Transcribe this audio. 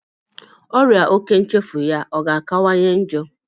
Ọrịa òkè nchefu ya a ga-akawanye njọ?